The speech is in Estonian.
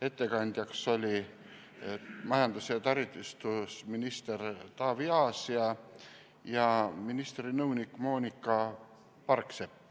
Ettekandja oli majandus- ja taristuminister Taavi Aas ja kohal oli ka ministri nõunik Moonika Parksepp.